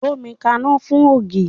Gbómi kaná fún ògì!